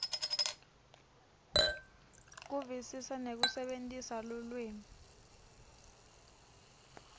kuvisisa nekusebentisa lulwimi